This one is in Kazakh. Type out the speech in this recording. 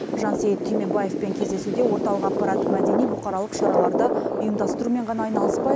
жансейіт түймебаевпен кездесуде орталық аппарат мәдени бұқаралық шараларды ұйымдастырумен ғана айналыспай